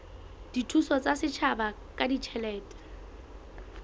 dithuso tsa setjhaba ka ditjhelete